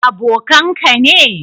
Abokan ka ne?